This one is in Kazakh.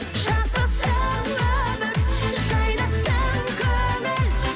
жасасын өмір жайнасын көңіл